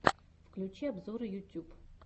включи обзоры ютюб